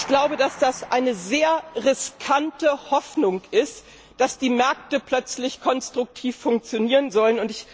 Ich glaube, dass es eine sehr riskante Hoffnung ist, dass die Märkte plötzlich konstruktiv funktionieren sollen.